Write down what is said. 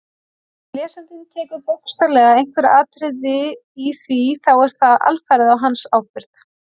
Ef lesandinn tekur bókstaflega einhver atriði í því þá er það alfarið á hans ábyrgð.